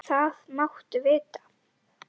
Það máttu vita.